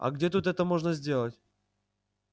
а где тут это можно сделать